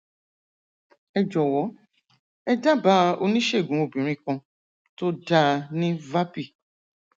ẹ jọwọ ẹ dábàá oníṣègùn obìnrin kan tó dáa ní vapi